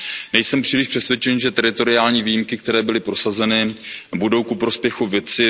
Nejsem příliš přesvědčen, že teritoriální výjimky, které byly prosazeny, budou ku prospěchu věci.